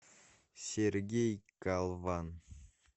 сергей калван